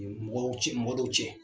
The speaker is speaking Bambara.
Mɔdɔw cɛ mɔgɔdɔw cɛ